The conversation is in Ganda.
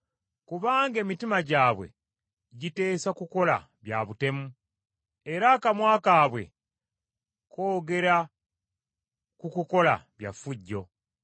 Kubanga emitima gyabwe giteesa kukola bya butemu, era akamwa kaabwe koogera ku kukola bya ffujjo.